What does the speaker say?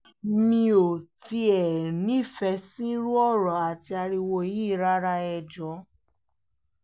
mi ò tiẹ̀ nífẹ̀ẹ́ sírú ọ̀rọ̀ àti ariwo yìí rárá ẹ̀ jọ̀ọ́